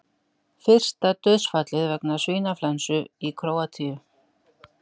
Fyrsta dauðsfallið vegna svínaflensu í Króatíu